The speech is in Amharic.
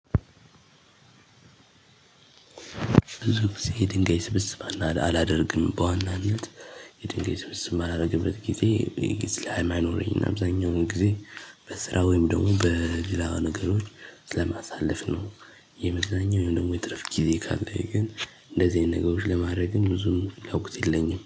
ብዙ ጊዜ የድንጋይ ስብስብ አላደርግም። በዋናነት የድንጋይ ስብስብ ማላደርግበት ጊዜ፣ ጊዜ ስለማይኖረኝ፤ እና አብዛኛውን ጊዜ በስራ ወይም ደግሞ በሌላ ነገሮች ስለማሳለፍ ነው። የመዝናኛ ወይም ደግሞ የትርፍ ጊዜ ካለኝ ግን፣ እንደዚህ አይነት ነገሮች ለማድረግም ብዙም ፍላጎት የለኝም።